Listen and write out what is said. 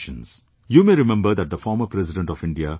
You may remember that the former President of India, Dr A